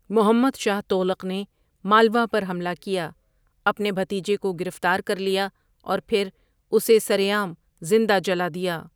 محمد شاہ تغلق نے مالوا پر حملہ کیا، اپنے بھتیجے کو گرفتارکر لیا، اور پھر اسے سرعام زندہ جلا دیا۔